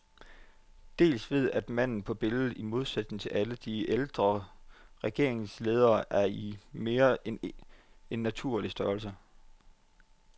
Dels ved at manden på billedet, i modsætning til alle de ældre regeringsledere, er i mere end naturlig størrelse.